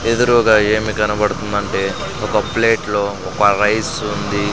ఎదురూగా ఏమి కనపడుతుందంటే ఒక ప్లేట్లో ఒక రైస్ ఉంది.